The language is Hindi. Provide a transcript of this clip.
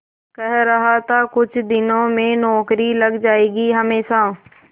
कह रहा था कुछ दिनों में नौकरी लग जाएगी हमेशा